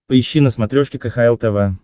поищи на смотрешке кхл тв